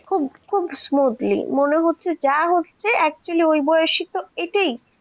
খুব খুব smoothly মনে হচ্ছে যা হচ্ছে actually ওই বয়সে তো এটাই ঠিক